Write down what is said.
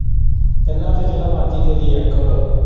ਤਿੰਨਾਂ ਚੋਂ ਜਿਹੜਾ ਮਰਜ਼ੀ ਦੇ ਦੇਈ ਇੱਕ।